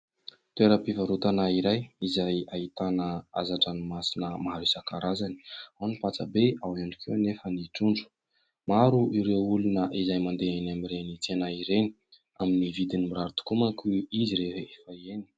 Toeram-pivarotana iray; izay ahitana hazan-dranomasina maro isan-karazany; ao ny pasta be, ao ihany koa anefa ny trondro; maro ireo olona izay mandeha eny amin'ireny tsena ireny; amin'ny vidiny mirary tokoa manko izy rehefa eny.